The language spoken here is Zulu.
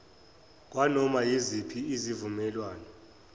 kwanoma yiziphi izivumelwano